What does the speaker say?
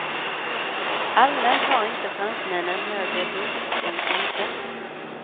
Allmänt har inte fransmännen högre blodtryck än svenskar.